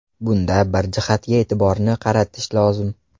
Bunda bir jihatga e’tiborni qaratish lozim.